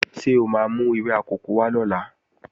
Ṣé o máa mú ewé akòko wá lọ́la?